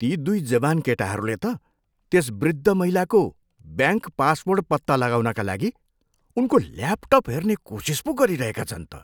ती दुई जवान केटाहरूले त त्यस वृद्ध महिलाको ब्याङ्क पासवर्ड पत्ता लगाउनका लागि उनको ल्यापटप हेर्ने कोसिस पो गरिरहेका छन् त।